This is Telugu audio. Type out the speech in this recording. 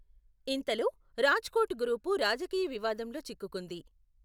ఇంతలో, రాజ్కోట్ గ్రూపు రాజకీయ వివాదంలో చిక్కుకుంది.